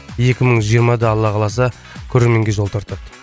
екі мың жиырмада алла қаласа көрерменге жол тартады